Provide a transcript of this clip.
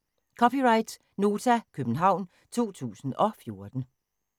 (c) Nota, København 2014